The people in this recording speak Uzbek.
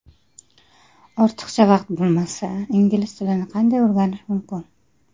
Ortiqcha vaqt bo‘lmasa, ingliz tilini qanday o‘rganish mumkin?.